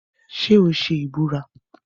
Ṣé o ṣe ìbúra?